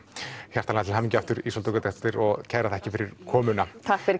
hjartanlega til hamingju aftur Ísold og kærar þakkir fyrir komuna